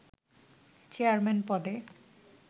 chairman পদে